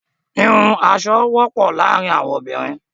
Wíwún aṣọ wọpọ laarin awọn obinrin